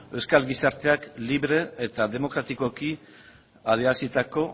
euskal gizarteak libre eta demokratikoki adierazitako